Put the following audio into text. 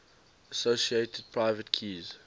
associated private keys